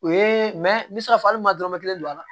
O ye n bɛ se k'a fɔ hali n ma dɔrɔmɛ kelen don a la